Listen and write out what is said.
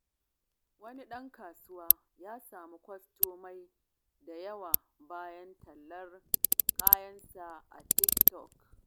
Wani ɗan kasuwa ya samu kwastomomi da yawa bayan tallan kayansa a TikTok.